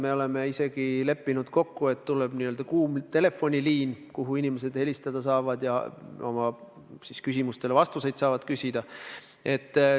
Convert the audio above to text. Me oleme isegi kokku leppinud, et tuleb n-ö kuum telefoniliin: inimesed saavad sellel numbril helistada ja oma küsimustele vastuseid küsida.